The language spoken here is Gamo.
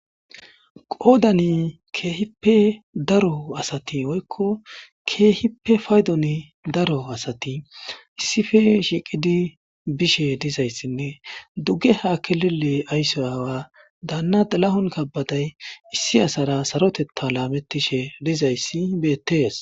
qoodani keehippe daro asati woykko keehippe paydon daro asati issipe shiiqidi bishe dizayssinne dugge ha kelele aysso aawa daanna xilahon kabbaday issi asara sarotetta laamettishe dizayssi beettees.